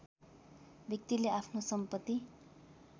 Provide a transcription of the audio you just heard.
व्यक्तिले आफ्नो सम्पत्ति